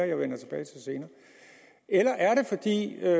jeg vender tilbage til senere eller er det